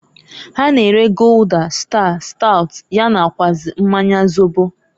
Ha na-ere Gulder, Star, Stout, ya nakwuazi mmanya zobo.